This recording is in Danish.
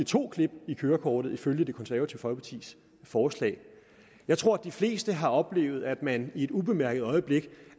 to klip i kørekortet ifølge det konservative folkepartis forslag jeg tror at de fleste har oplevet at man i et ubemærket øjeblik